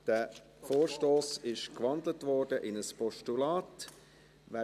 Dieser Vorstoss wurde in ein Postulat gewandelt.